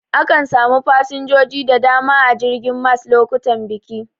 Akan samu fasinjoji da dama a jirgin mas lokutan biki.